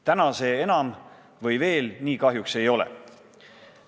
Täna see enam või veel nii kahjuks ei ole.